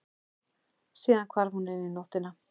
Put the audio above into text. Síðan hvarf hún inn í nóttina.